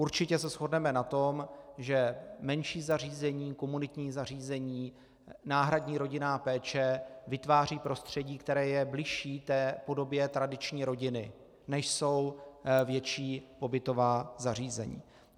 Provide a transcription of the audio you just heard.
Určitě se shodneme na tom, že menší zařízení, komunitní zařízení, náhradní rodinná péče vytváří prostředí, které je bližší té podobě tradiční rodiny, než jsou větší pobytová zařízení.